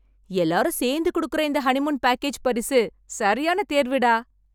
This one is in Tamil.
எல்லாரும் சேர்ந்து குடுக்குற இந்த ஹனிமூன் பேக்கஜ் பரிசு, சரியான தேர்வுடா.